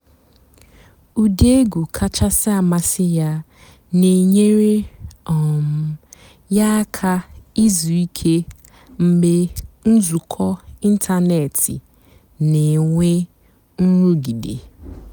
ụ́dị́ ègwú kàchàsị́ àmásị́ yá nà-ènyééré um yá àká ìzú ìké mg̀bé ǹzùkọ́ ị̀ntánétị́ nà-ènwé ǹrụ́gídé.